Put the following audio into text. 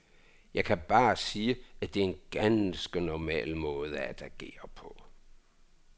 Jeg kan bare sige, at det er en ganske normal måde at agere på.